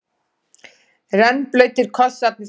Rennblautir kossarnir streymdu.